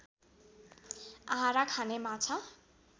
आहारा खाने माछा